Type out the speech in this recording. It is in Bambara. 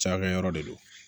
Cakɛyɔrɔ de don